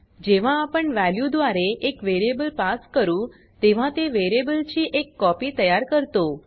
जेव्हा आपण वॅल्यू द्वारे एक वेरियेबल पास करू तेव्हा ते वेरियेबल ची एक कॉपी तयार करतो